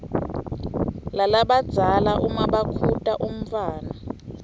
lalabadzala nmabakhuta umntfwana